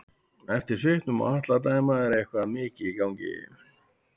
Eftir svipnum á Atla að dæma er eitthvað mikið í gangi.